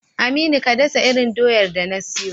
Aminu, ka dasa irin doyar da na siyo.